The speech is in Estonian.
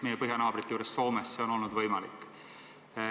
Meie põhjanaabrite juures Soomes on see olnud võimalik.